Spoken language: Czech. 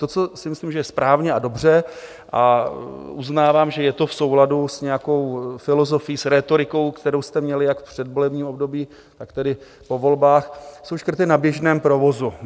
To, co si myslím, že je správně a dobře, a uznávám, že je to v souladu s nějakou filozofií, s rétorikou, kterou jste měli jak v předvolebním období, tak tedy po volbách, jsou škrty na běžném provozu.